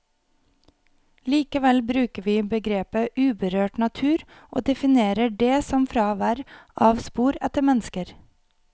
Likevel bruker vi begrepet uberørt natur, og definerer det som fravær av spor etter mennesker.